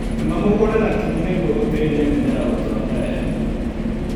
Rĩma mũgunda na kinyi nĩguo gũteithia mĩmera gũtonya wega.